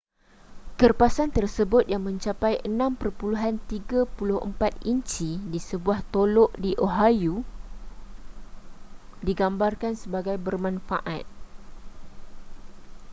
kerpasan tersebut yang mencapai 6.34 inci di sebuah tolok di oahu digambarkan sebagai bermanfaaat